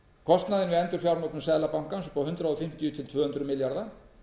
kostnaðinn við endurfjármögnun seðlabankans upp á hundrað fimmtíu til tvö hundruð milljarða